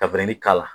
Ka k'a la